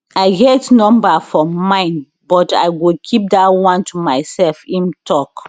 i get number for mind but i go keep dat one to myself im tok